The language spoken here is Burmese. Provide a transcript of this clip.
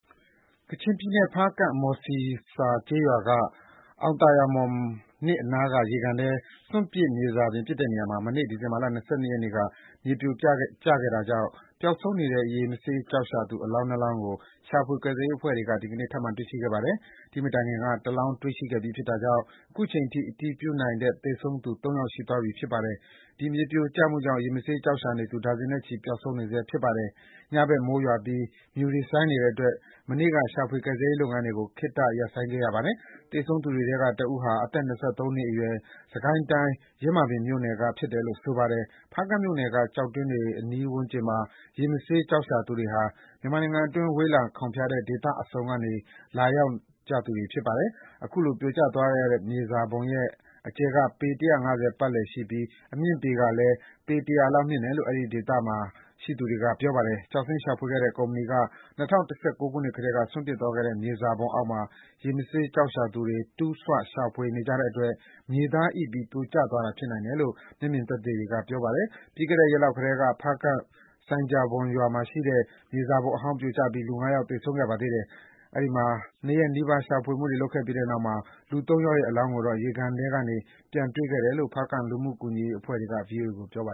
ကချင်ပြည်နယ်၊ ဖားကန့်၊ မှော်ဆီဆာကျေးရွာ အောင်သာယာမှော် ၂ နားက ရေကန်ထဲ စွန့်ပစ်မြေစာပစ်တဲ့နေရာမှာ မနေ့ ဒီဇင်ဘာ ၂၂ ရက်နေ့က မြေပြိုကျခဲ့တာကြောင့် ပျောက် ဆုံးနေတဲ့ ရေမဆေးကျောက်ရှာသူ အလောင်း နှစ်လောင်းကို ရှာဖွေကယ်ဆယ်ရေးအဖွဲ့တွေက ဒီကနေ့ ထပ်မံ တွေ့ရှိခဲ့ပါတယ်။ ဒီ့မတိုင်ခင်က တလောင်း တွေ့ရှိခဲ့ပြီးဖြစ်တာကြောင့် အခုချိန်ထိ အတည်ပြုနိုင်တဲ့ သေဆုံးသူ ၃ ယောက် ရှိသွားပြီ ဖြစ်ပါတယ်။ ဒီမြေပြိုကျမှုကြောင့် ရေမဆေးကျောက် ရှာနေသူ ဒါဇင်နဲ့ချီ ပျောက်ဆုံးနေဆဲ ဖြစ်ပါတယ်။ ညဘက် မိုးရွာပြီး မြူတွေ ဆိုင်းနေတဲ့အတွက် မနေ့က ရှာဖွေ ကယ်ဆယ်ရေးလုပ်ငန်းတွေကို ခေတ္တ ရပ်ဆိုင်းခဲ့ရပါတယ်။ သေဆုံးသူတွေထဲကတဦးဟာ အသက် ၂၃ နှစ်အရွယ် စစ်ကိုင်းတိုင်း၊ ယင်းမာပင်မြို့နယ်က ဖြစ်တယ်လို့ ဆိုပါတယ်။ ဖားကန့်မြို့က ကျောက်တွင်းတွေအနီးဝန်းကျင်မှာ ရေမဆေးကျောက် ရှာသူတွေဟာ မြန်မာနိုင်ငံအတွင်း ဝေးလံခေါင်ဖျားတဲ့ ဒေသစုံက လာကြတဲ့သူတွေ ဖြစ်ပါတယ်။ အခု ပြိုကျသွားတဲ့မြေစာပုံရဲ့အကျယ်က ပေ ၁၅၀ ပတ်လည်ရှိပြီး အမြင့်ကလည်း ပေ ၁၀၀ လောက်မြင့်တယ်လို့ အဲဒီနေရာမှာရှိနေသူတွေက ပြောပါတယ်။ ကျောက်စိမ်းရှာဖွေခဲ့တဲ့ ကုမ္ပဏီက ၂၀၁၉ ကတည်းက စွန့်ပစ်သွားခဲ့တဲ့ မြေစာပုံအောက်ခြေမှာ ရေမဆေးရှာသူတွေက တူးဆွ၊ ရှာဖွေကြတဲ့အတွက် မြေသားအိပြီး ပြိုကျသွားတာ ဖြစ်နိုင်တယ်လို့ တချို့ကခန့်မှန်းပါတယ်။ ပြီးခဲ့တဲ့နှစ်ရက်လောက်ကလည်း ဖားကန့်က ဆိုင်းဂျာဘွမ်ရွာမှာရှိတဲ့ မြေစာပုံအဟောင်းပြိုကျပြီး လူငါးယောက် ပျောက်ဆုံးခဲ့ပါတယ်။ အဲဒီမှာ နှစ်ရက်နီးပါး ရှာဖွေမှုတွေလုပ်ခဲ့ရပြီး လူသုံးယောက်ရဲ့ အလောင်းကိုတော့ ရေကန်ထဲကနေ ပြန်တွေ့ခဲ့တယ်လို့ ဖားကန့်က လူမှုကူညီရေးအဖွဲ့ဝင်တချို့က ဗွီအိုအေကို ပြောပါ